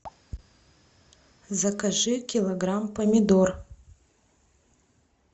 закажи килограмм помидор